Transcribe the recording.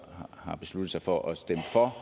har besluttet sig for at stemme for